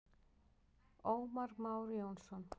Ómar Már Jónsson.